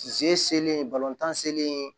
Se selen balontan selen